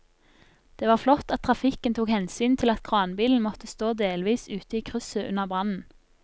Det var flott at trafikken tok hensyn til at kranbilen måtte stå delvis ute i krysset under brannen.